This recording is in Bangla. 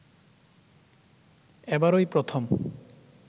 এবারই প্রথম